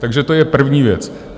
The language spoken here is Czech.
Takže to je první věc.